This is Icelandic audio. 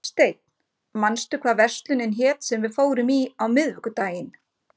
Arnsteinn, manstu hvað verslunin hét sem við fórum í á miðvikudaginn?